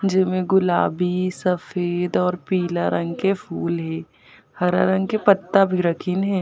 जे में गुलाबी सफ़ेद और पीला रंग के फूल हे हरा रंग के पत्ता भी रखिन हे।